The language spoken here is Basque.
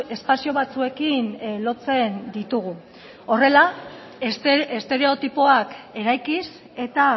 espazio batzuekin lotzen ditugu horrela estereotipoak eraikiz eta